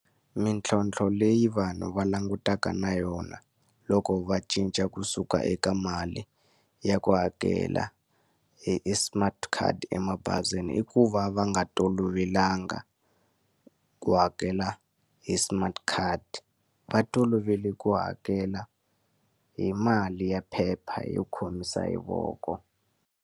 Mintlhontlho leyi vanhu va langutanaka na yona loko va cinca kusuka eka mali ya ku hakela hi hi smart card emabazini, i ku va va nga tolovelanga ku hakela hi smart card. Va tolovele ku hakela hi mali ya phepha yo khomisa hi voko.